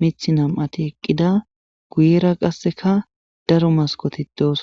mith nam7ati eqqida guyera qasseka daro maskoti dooson